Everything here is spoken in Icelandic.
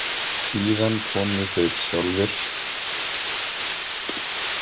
Síðan komu þeir sjálfir.